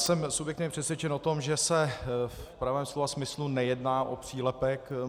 Jsem subjektivně přesvědčen o tom, že se v pravém slova smyslu nejedná o přílepek.